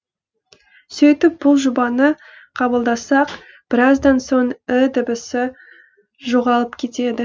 сөйтіп бұл жобаны қабылдасақ біраздан соң і дыбысы жоғалып кетеді